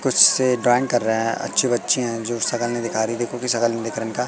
कुछ से ड्राइंग कर रहा है अच्छे बच्चे हैं जो शक्ल नहीं दिखा रही देखो कि शक्ल नहीं दिख रहा इनका।